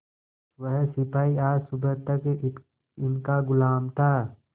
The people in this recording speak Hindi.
वह सिपाही आज सुबह तक इनका गुलाम था